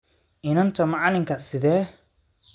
Inanta macalinka, sidee?